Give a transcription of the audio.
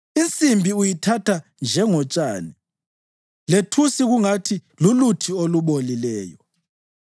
Insimbi uyithatha njengotshani lethusi kungathi luluthi olubolileyo.